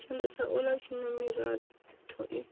tshanda tshaula tshina miratho i